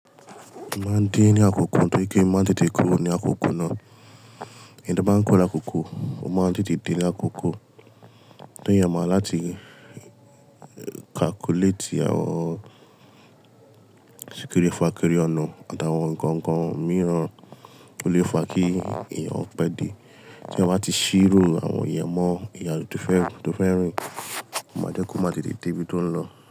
Mo máa ń dé ní àkókò, nítorí pé mo máa tètè kúrò ní àkókò náà. Ìgbà tí a bá ń kúrò ní àkókò, o máa tètè dé lákókò. Torí a máa láti calculate àwọn sekiri, fakiri ọ̀nà àtàwọn ǹkan kan mìíràn ó lè fa kí èèyàn pẹ́ dé. Tí ẹ bá ti ṣírò àwọn ìyẹ́mọ̀, ìrìnàjò tó fẹ́, tó fẹ́ rìn, ó máa jẹ́ kó má tètè dé bí ó tó ń lọ.